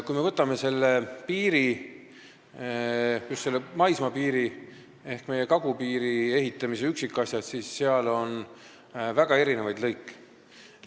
Kui me vaatame piiri, just maismaapiiri ehk meie kagupiiri ehitamise üksikasju, siis näeme seal väga erinevaid lõike.